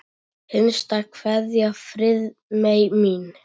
HINSTA KVEÐJA Friðmey mín.